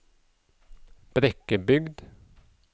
Brekkebygd